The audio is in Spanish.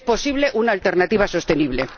es posible una alternativa sostenible.